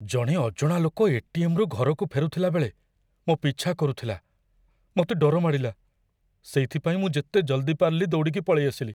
ଜଣେ ଅଜଣା ଲୋକ ଏ.ଟି.ଏମ୍. ରୁ ଘରକୁ ଫେରୁଥିଲା ବେଳେ ମୋ' ପିଛା କରୁଥିଲା । ମତେ ଡର ମାଡ଼ିଲା, ସେଇଥିପାଇଁ ମୁଁ ଯେତେ ଜଲ୍‌ଦି ପାରିଲି ଦୌଡ଼ିକି ପଳେଇଆସିଲି ।